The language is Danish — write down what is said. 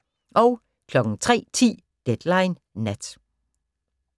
03:10: Deadline Nat